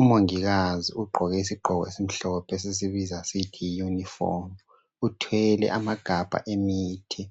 UMongikazi ugqoke isigqoko esimhlophe esisibiza sisithi yiyunifomu. Uthwele amagabha emithi